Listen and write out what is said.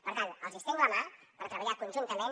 per tant els estenc la mà per treballar conjuntament